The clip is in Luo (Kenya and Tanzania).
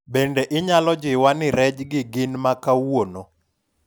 bende inyalo jiwa ni rej gi gin makawuono?